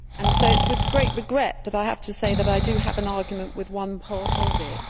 So it is with great regret that I have to say that I do have an argument with one part of it.